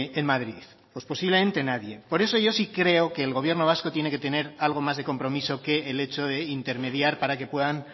en madrid pues posiblemente nadie por eso yo sí creo que el gobierno vasco tiene que tener algo más de compromiso que el hecho de intermediar para que puedan